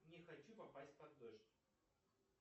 не хочу попасть под дождь